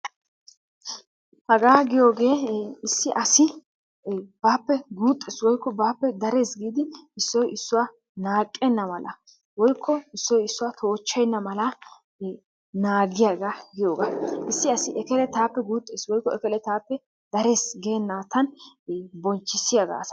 Hagaa giyoogee issi asi baappe guuxxes woyikko baappe dares giidi issoy issuwaa naaqqenna malaa woyikko issoy issuwaa toochchenna malaa naagiyaaga giyoogaa. Issi asi ekele taappe guuxxes woyikko ekelee taappe darees geennattan bonchchissiyaaga asaa.